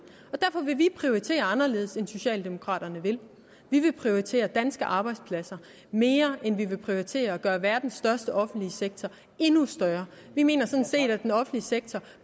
derfor vil vi prioritere anderledes end socialdemokraterne vil vi vil prioritere danske arbejdspladser mere end vi vil prioritere at gøre verdens største offentlige sektor endnu større vi mener sådan set at den offentlige sektor